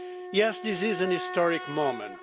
Yes, this is a historic moment.